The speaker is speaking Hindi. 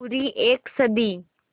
पूरी एक सदी